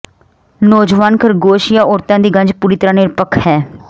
ਨੌਜਵਾਨ ਖਰਗੋਸ਼ ਜਾਂ ਔਰਤਾਂ ਦੀ ਗੰਜ ਪੂਰੀ ਤਰਾਂ ਨਿਰਪੱਖ ਹੈ